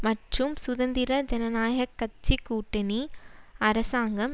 மற்றும் சுதந்திர ஜனநாயக கட்சி கூட்டணி அரசாங்கம்